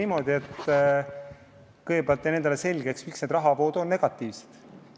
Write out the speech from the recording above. Ma kõigepealt teeksin endale selgeks, miks rahavood on negatiivsed.